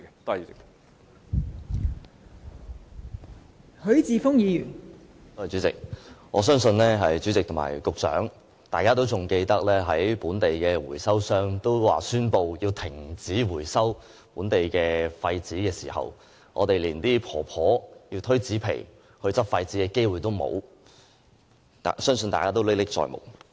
代理主席，我相信局長仍然記得，本地回收商宣布要停止回收本地廢紙時，那些婆婆連推車執拾廢紙的機會也失去，相信大家仍歷歷在目。